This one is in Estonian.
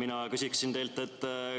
Mina küsin teilt,